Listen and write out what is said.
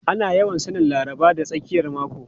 Ana yawan sanin Laraba da tsakiyar mako.